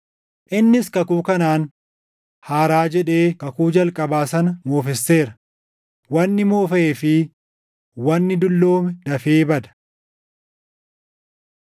Innis kakuu kanaan “haaraa” jedhee kakuu jalqabaa sana moofesseera; wanni moofaʼee fi wanni dulloome dafee bada.